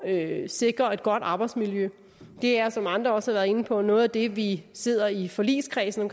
at sikre et godt arbejdsmiljø det er som andre også har været inde på noget af det vi sidder i forligskredsen om